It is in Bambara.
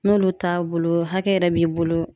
N'olu t'a bolo hakɛ yɛrɛ b'i bolo